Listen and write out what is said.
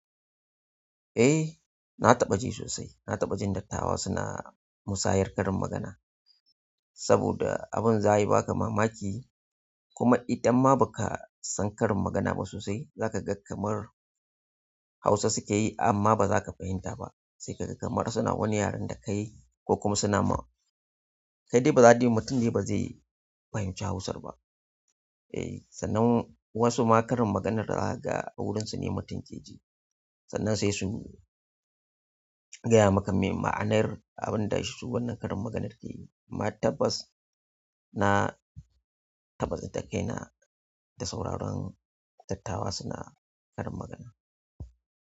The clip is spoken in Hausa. Eh, na taɓa ji sosai. Na taɓa jin dattawa suna musayar karin magana saboda abin zaya ba ka mamaki kuma idan ma ba ka san karin magana ba sosai, za ka ga kamar Hausa suke yi amma ba za ka fahimta ba. Sai ka ga kamar suna wani yaren da kai ko kuma suna ma. Da dai ba za ka ji mutum dai ba zai fahimci Hausar ba. Eh, sannan wasu ma karin maganar za kaga a wurinsu ne mutum ke ji. Sannan sai su yi gaya maka me ma'anar abin da su wannan karin maganar ke yi. Ma tabbas na tabbaci tsinakaina da sauraron dattawa suna karin magana.